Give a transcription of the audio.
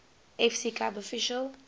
fc club official